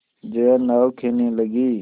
जया नाव खेने लगी